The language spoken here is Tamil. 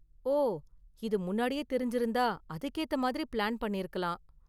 ஓ, இது முன்னாடியே தெரிஞ்சிருந்தா அதுக்கேத்த மாதிரி பிளான் பண்ணிருக்கலாம்.